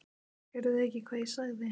Heyrðu þið ekki hvað ég sagði?